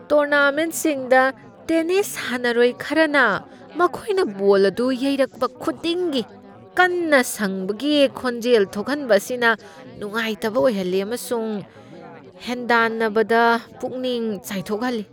ꯇꯣꯔꯅꯥꯃꯦꯟꯠꯁꯤꯡꯗ tennis ꯁꯥꯟꯅꯔꯣꯏ ꯈꯔꯅ ꯃꯈꯣꯏꯅ ꯕꯣꯜ ꯑꯗꯨ ꯌꯩꯔꯛꯄ ꯈꯨꯗꯤꯡꯒꯤ ꯀꯟꯅ ꯁꯪꯕꯒꯤ ꯈꯣꯟꯖꯦꯜ ꯊꯣꯛꯍꯟꯕ ꯑꯁꯤꯅ ꯅꯨꯡꯉꯥꯏꯇꯕ ꯑꯣꯏꯍꯜꯂꯤ ꯑꯃꯁꯨꯡ ꯍꯦꯟꯗꯥꯟꯅꯕꯗ ꯄꯨꯛꯅꯤꯡ ꯆꯥꯏꯊꯣꯛꯍꯜꯂꯤ ꯫